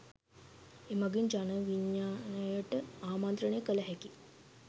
එමගින් ජන විඥානයට ආමන්ත්‍රණය කළ හැකි